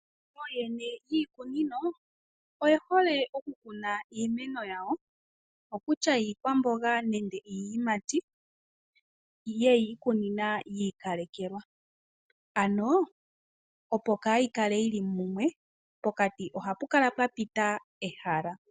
Ooyene yiikunino oye hole okukuna iimeno yawo kutya iikwamboga nenge iiyimati yeji ikunina yi ikalekelwa, ano opo kayi kale yili mumwe pokapi ohapu kala pwapita ehala.